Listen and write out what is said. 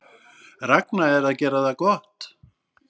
Ragna að gera það gott